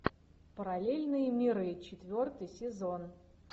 параллельные миры четвертый сезон